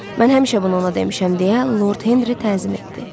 Mən həmişə bunu ona demişəm deyə Lord Henri tənzim etdi.